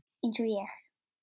Eins og ég?